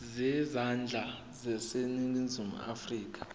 zezandla zaseningizimu afrika